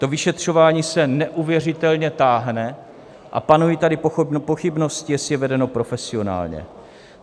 To vyšetřování se neuvěřitelně táhne a panují tady pochybnosti, jestli je vedeno profesionálně.